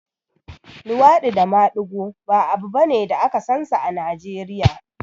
luwaɗi da maɗigo ba abu bane da aka sansa a Najeriya